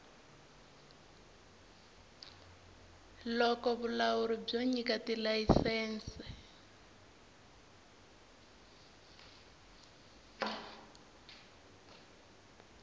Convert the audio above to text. loko vulawuri byo nyika tilayisense